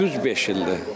Düz beş ildir.